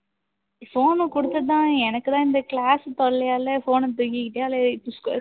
phone உ கொடுத்து தான் எனக்கு தான் இந்த class தொல்லையால phone அ தூக்கிக்கிட்டே அலையு